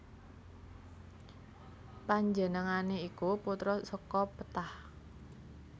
Panjenengané iku putra saka Ptah